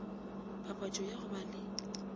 papatšo ya go ba le